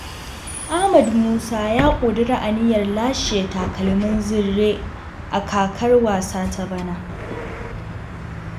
Ahmed Musa ya ƙudiri aniyar lashe takalmin zinre a kakar wasa ta bana.